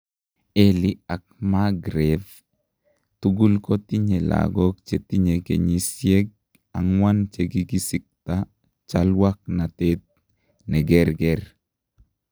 Elly ak Magreth tugul kotinye lagok chetinye kenyisieg angwan chekigisikta chalwaknatet negerger